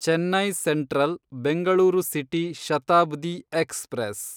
Chennai central Bengaluru city Shatabdi express